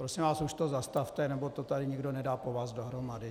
Prosím vás, už to zastavte, nebo to tady nikdo nedá po vás dohromady.